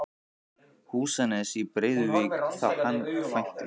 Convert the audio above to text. Húsanes í Breiðuvík þá hann kvæntist.